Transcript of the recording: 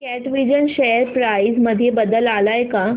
कॅटविजन share price मध्ये बदल आलाय का